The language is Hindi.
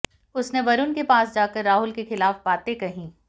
उसने वरुण के पास जाकर राहुल के खिलाफ बातें कही